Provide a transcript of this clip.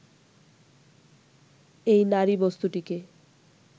এই নারীবস্তুটিকে